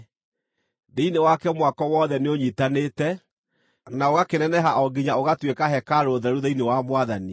Thĩinĩ wake mwako wothe nĩũnyiitanĩte, na ũgakĩneneha o nginya ũgatuĩka hekarũ theru thĩinĩ wa Mwathani.